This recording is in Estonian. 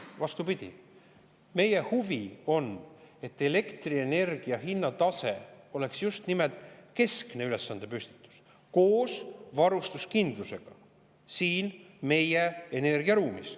Vastupidi, meie huvi on, et elektrienergia hinnatase oleks just nimelt keskne ülesandepüstitus koos varustuskindlusega meie energiaruumis.